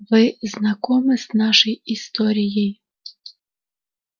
вы знакомы с нашей историей